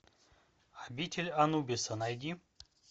обитель анубиса найди